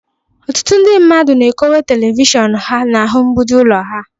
Ọtụtụ ndị mmadụ na-ekowe telivishọn ha n'ahụ mgbidi ụlọ ha